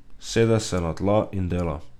Sede se na tla in dela.